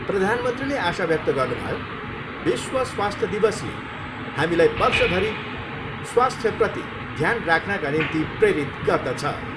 प्रधानमन्त्रीले आशा व्यक्त गर्नुभयो, विश्व स्वास्थ्य दिवसले हामीलाई वर्षभरि स्वास्थ्यप्रति ध्यान राख्नका निम्ति प्रेरित गर्दछ।